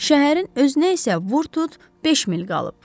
Şəhərin özünə isə Vurtut beş mil qalıb.